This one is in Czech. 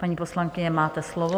Paní poslankyně, máte slovo.